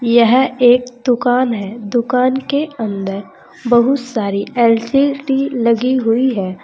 यह एक दुकान है दुकान के अंदर बहुत सारी एल_सी_डी लगी हुई है।